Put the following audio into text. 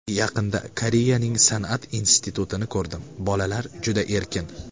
Yaqinda Koreyaning san’at institutini ko‘rdim, bolalar juda erkin.